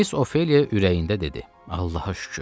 Miss Ofeliya ürəyində dedi: Allaha şükür.